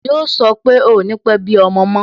Yo sọ pé "ò ní pe bí ọmọ mo